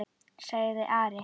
sagði Ari.